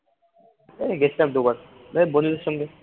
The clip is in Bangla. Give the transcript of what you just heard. এই গেছিলাম দুবার এ বন্ধুদের সঙ্গে